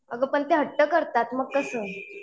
अगं पण ते हट्ट करतात मग कसं?